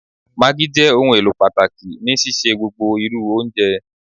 Maggi jẹ ohunelo pataki ni sise gbogbo iru ounjẹ.